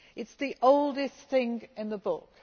It is the oldest thing in the book.